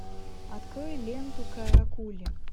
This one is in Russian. открой ленту каракули